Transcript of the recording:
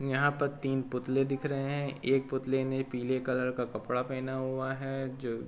न् यहाँ पर तीन पुतले दिख रहे हैं। एक पुतले ने पीले कलर का कपड़ा पहना हुआ है जो --